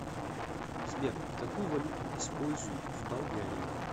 сбер какую валюту используют в болгарии